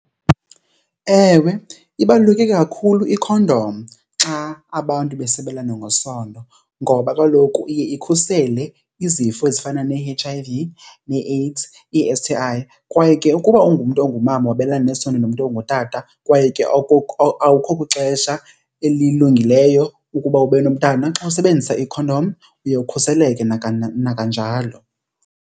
Ewe, ibaluleke kakhulu ikhondom xa abantu besabelana ngesondo ngoba kaloku iye ikhusele izifo ezifana ne-H_I_V, nee-AIDS, ii-S_T_I. Kwaye ke ukuba ungumntu ongumama wabelana nesondo nomntu ongutata kwaye ke awukho kwixesha elilungileyo ukuba ube nomntana xa usebenzisa ikhondom uye ukhuseleke nakananjalo.